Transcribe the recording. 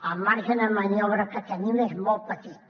el marge de maniobra que tenim és molt petit